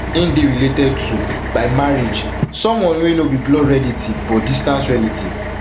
im dey related to to by marriage someone wey no be blood relative but distant relative